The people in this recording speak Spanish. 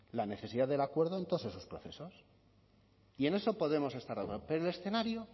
la necesidad del acuerdo en todos esos procesos y en eso podemos estar de acuerdo pero el escenario